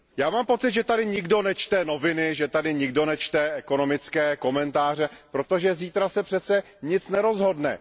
Mám pocit, že tady nikdo nečte noviny, že tady nikdo nečte ekonomické komentáře, protože zítra se přece nic nerozhodne.